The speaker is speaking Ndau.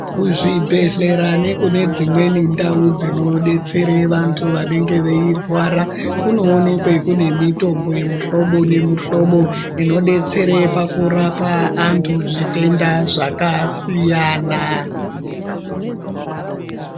Kuzvibhedhlera nekune dzimweni ndau dzinodetsere vantu vanenge veirwara kunoonekwe kune mitombo yemihlobo nemihlobo inodetsere pakurapa antu zvitenda zvakasiyana.